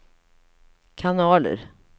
kanaler